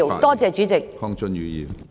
多謝主席。